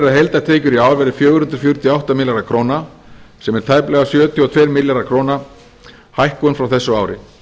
að heildartekjur í ár verði fjögur hundruð fjörutíu og átta milljarðar króna sem er tæplega sjötíu og tvo milljarða króna hækkun frá þessu ári